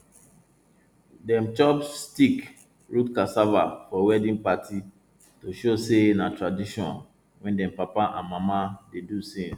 dem chop stick root cassava for wedding party to show say na tradition wey dem papa and mama dey do since